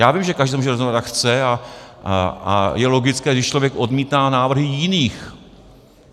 Já vím, že každý se může rozhodnout, jak chce, a je logické, když člověk odmítá návrhy jiných.